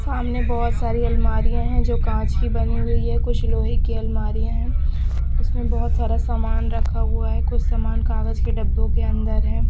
सामने बहोत सारी अलमारी है जो कांच की बनी हुई है कुछ लोहे की अलमारी है उसमें बहोत सारा सामान रखा हुआ है कुछ सामान कागज के डब्बों के अंदर है।